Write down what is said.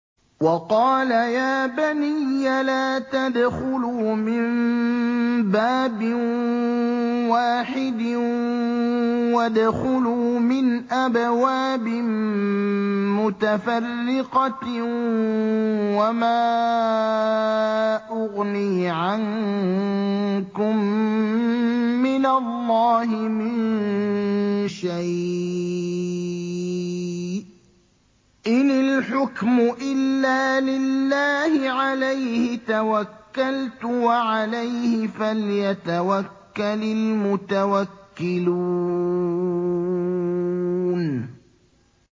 وَقَالَ يَا بَنِيَّ لَا تَدْخُلُوا مِن بَابٍ وَاحِدٍ وَادْخُلُوا مِنْ أَبْوَابٍ مُّتَفَرِّقَةٍ ۖ وَمَا أُغْنِي عَنكُم مِّنَ اللَّهِ مِن شَيْءٍ ۖ إِنِ الْحُكْمُ إِلَّا لِلَّهِ ۖ عَلَيْهِ تَوَكَّلْتُ ۖ وَعَلَيْهِ فَلْيَتَوَكَّلِ الْمُتَوَكِّلُونَ